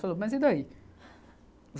Falou, mas e daí?